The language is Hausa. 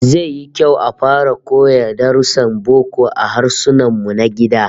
Zai yi kyau a fara koya darussan boko a Harsunanmu na gida